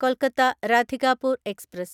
Kolkata Radhikapur express